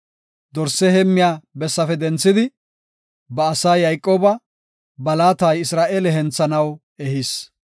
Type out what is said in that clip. Dorse heemmiya bessafe denthidi, ba asaa Yayqooba, ba laata Isra7eele henthanaw ehis.